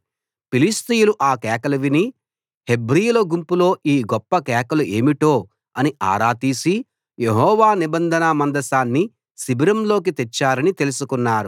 ఫిలిష్తీయులు ఆ కేకలు విని హెబ్రీయుల గుంపులో ఈ గొప్ప కేకలు ఏమిటో అని ఆరా తీసి యెహోవా నిబంధన మందసాన్ని శిబిరంలోకి తెచ్చారని తెలుసుకున్నారు